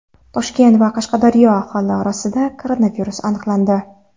Toshkent va Qashqadaryoda aholi orasida koronavirus aniqlandi.